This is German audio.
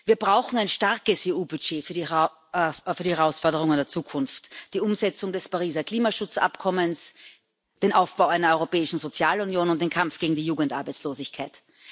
Wir brauchen einen starken EU Haushalt für die Herausforderungen der Zukunft die Umsetzung des Pariser Klimaschutzabkommens, den Aufbau einer europäischen Sozialunion und den Kampf gegen die Jugendarbeitslosigkeit.